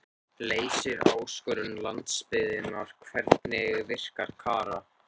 Leysir áskorun landsbyggðarinnar Hvernig virkar Kara?